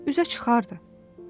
Üzə çıxardı.